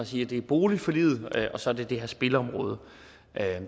sige det er boligforliget og så er det det her spilområde